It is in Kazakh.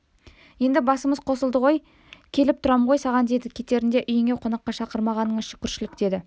енді басымыз қосылды ғой келіп тұрам ғой саған деді кетерінде үйіңе қонаққа шақырмағаныңа да шүкіршілік деді